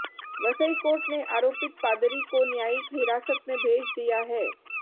Vasai court ने आरोपित पादरी को न्यायिक हिरासत में भेज दिया है